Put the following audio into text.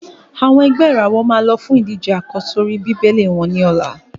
Àwọn ẹ̀gbẹ́ ìràwọ̀ máa lọ fún ìdíje àkọ́sórí Bíbélì wọ́n ní ọ̀la.